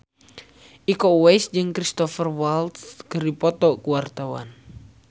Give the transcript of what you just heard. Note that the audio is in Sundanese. Iko Uwais jeung Cristhoper Waltz keur dipoto ku wartawan